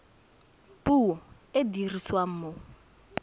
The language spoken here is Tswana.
puo e e dirisiwang mo